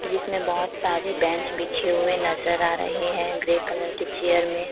जिसमें बहोत सारी बेंच पीछे हुए नजर आ रहे हैं ग्रे कलर की चेयर में--